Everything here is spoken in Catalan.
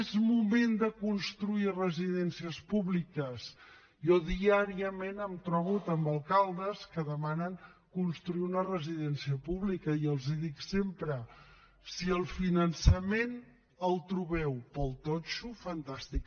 és moment de construir residències públiques jo diàriament em trobo amb alcaldes que demanen construir una residència pública i els dic sempre si el finançament el trobeu per al totxo fantàstic